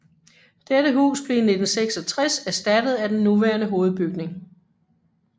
Dette hus blev i 1966 erstattet af den nuværende hovedbygning